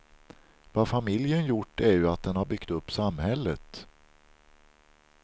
Vad familjen gjort är ju att den har byggt upp samhället.